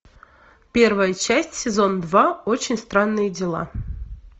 первая часть сезон два очень странные дела